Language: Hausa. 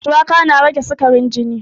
Shuwaka na rage sikarin jini